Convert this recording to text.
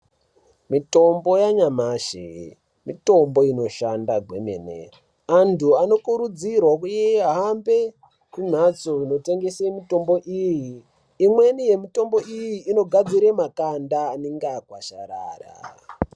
Mitombo yanyamashi mitombo inoshanda kwemene, antu anokurudzirwa kuhambe kumhatso inotengese mitombo iyi, imweni yemitombo iyi inogadzira makanda anenge agwazharara.